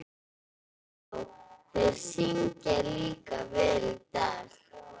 Já, og þeir syngja líka vel í dag.